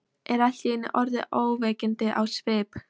Er allt í einu orðin ógnvekjandi á svip.